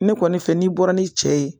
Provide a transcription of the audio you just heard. Ne kɔni fɛ n'i bɔra ni cɛ ye